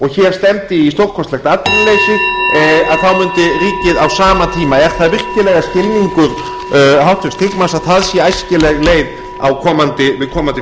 hér stefndi í stórkostlegt atvinnuleysi þá mundi ríkið á sama tíma er það virkilega skilningur háttvirts þingmanns að það sé æskileg leið við komandi fjárlagagerð